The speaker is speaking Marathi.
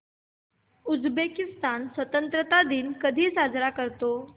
उझबेकिस्तान स्वतंत्रता दिन कधी साजरा करतो